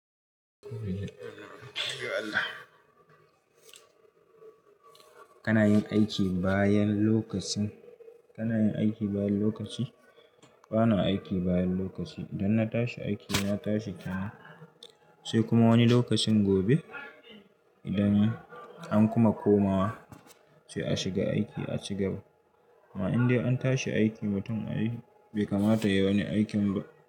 Kana yin aiki bayan lokacin, kana yin aiki bayan lokaci? Bana aiki bayan lokaci. Idan na tashi aiki, na tashi kenan sai kuma wani lokacin gobe idan an kuma komawa sai a shiga aiki, a ci gaba. Ma in dai an tashi aiki mutum ai bai kamata yayi wani aikin ba.